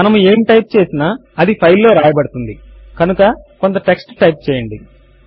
మనము ఏమి టైప్ చేసినా అది ఫైల్ లో వ్రాయబడుతుంది కనుక కొంత టెక్స్ట్ టైప్ చేయండి